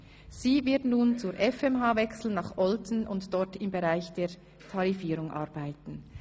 Sie wird nun zur FMH nach Olten wechseln und dort im Bereich der Tarifierung arbeiten.